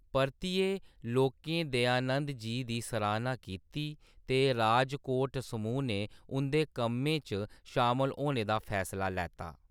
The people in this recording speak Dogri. परतियै लोकें दयानंद जी दी सराह्‌ना कीती ते राजकोट समूह् ने उं'दे कम्में च शामल होने दा फैसला लैत्ता।